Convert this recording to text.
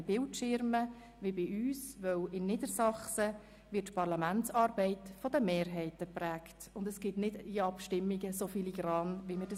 Sie verfügen auch nicht über Bildschirme wie bei uns, weil in Niedersachsen die Parlamentsarbeit durch die Mehrheiten geprägt wird und nicht in so filigraner Weise Abstimmungen stattfinden, wie dies bei uns der Fall ist.